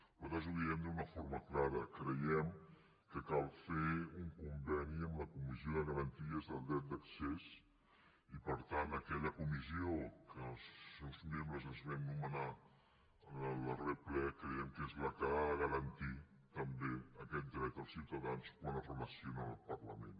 nosaltres ho diem d’una forma clara creiem que cal fer un conveni amb la comissió de garantia del dret d’accés i per tant aquella comissió que els seus membres els vam nomenar en el darrer ple creiem que és la que la que ha de garantir també aquest dret dels ciutadans quan es relacionen amb el parlament